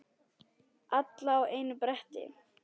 Alla á einu bretti.